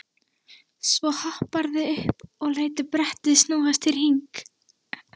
Svo hopparðu upp og lætur brettið snúast í hring.